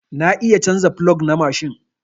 Na iya canza plog na mashin.